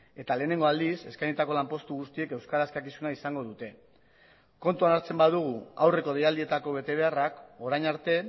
eta lehenengo aldiz eskainitako lanpostu guztiek euskara eskakizuna izango dute kontuan hartzen badugu aurreko deialdietako betebeharrak orain arte